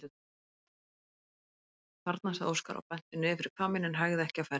Þarna, sagði Óskar og benti niður fyrir hvamminn en hægði ekki á ferðinni.